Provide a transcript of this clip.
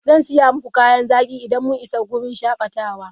Zan saya muku kayan zaki idan mun isa wurin shakatawa.